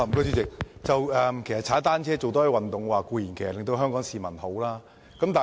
主席，多使用單車和多做運動，對香港市民當然有好處。